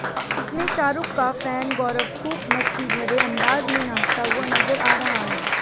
इसमें शाहरुख का फैन गौरव खूब मस्तीभरे अंदाज में नाचता हुआ नजर आ रहा है